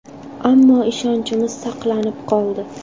Ammo ishonchimiz saqlanib qoldi”.